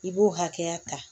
I b'o hakɛya ta